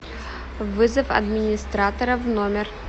вызов администратора в номер